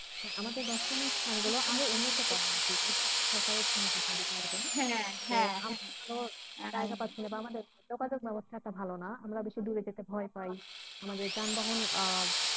হ্যাঁ আমাদের দর্শনীয় স্থানগুলো আরো উন্নত করা উচিত আমাদের যোগাযোগ ব্যাবস্থা এতটা ভালো না আমরা বেশি দূরে যেতে ভয় পাই আমাদের যানবাহন আহ